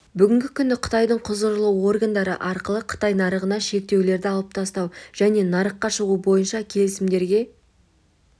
бүгінгі күні қытайдың құзырлы органдары арқылы қытай нарығына шектеулерді алып тастау және нарыққа шығу бойынша келісімдерге